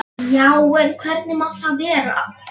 Já, en hvernig má það vera?